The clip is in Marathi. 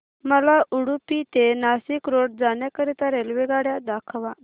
मला उडुपी ते नाशिक रोड जाण्या करीता रेल्वेगाड्या दाखवा